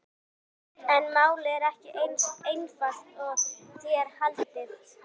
Lét lögmaður þá hætta frekari eftirgrennslan.